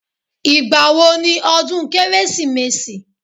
Ìgbà wo ni odún kérésìmesì?